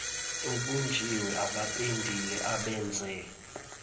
obunjiwe abapendile abenze